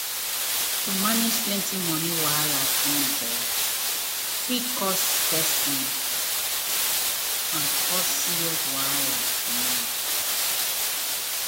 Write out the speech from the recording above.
to manage plenty money wahala at once fit worry person and cause serious wahala for mind.